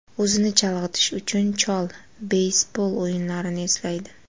O‘zini chalg‘itish uchun, chol beysbol o‘yinlarini eslaydi.